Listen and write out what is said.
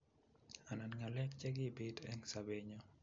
Anani ngalek che kibiit eng sebenyo